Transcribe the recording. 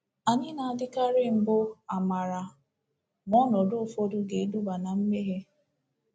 Anyị na-adịkarị mbụ amara ma ọnọdụ ụfọdụ ga-eduba ná mmehie.